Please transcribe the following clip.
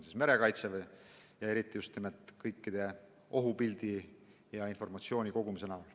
Seal on merekaitse ning võimalus luua ohupilt ja koguda informatsiooni.